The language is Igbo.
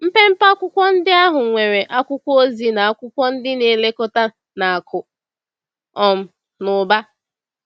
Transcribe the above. Mpempe akwụkwọ ndị ahụ nwere akwụkwọ ozi na akwụkwọ ndị na-elekọta na akụ um na ụba.